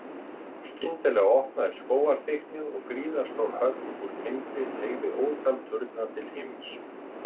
Skyndilega opnaðist skógarþykknið og gríðarstór höll úr timbri teygði ótal turna til himins.